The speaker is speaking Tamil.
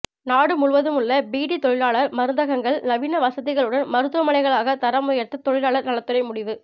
நாடு முழுவதும் உள்ள பீடி தொழிலாளர் மருந்தகங்கள் நவீன வசதிகளுடன் மருத்துவமனைகளாக தரம் உயர்த்த தொழிலாளர் நலத்துறை முடிவு